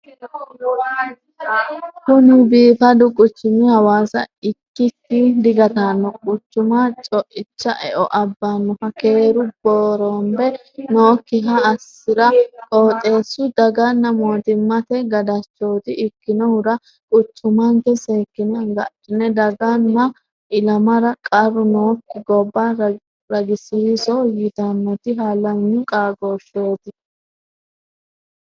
Kuni biifadu quchumi hawaasa ikkikki digatano quchuma coicha eo abbanoha keeru booranbe nookkiha assira qooxxeesu daganna mootimmate gadachoti ikkinohura quchummanke seekkine agadhine dagano ilamara qarru nookki gobba ragisiiso ytanoti halanyu qaagosheti.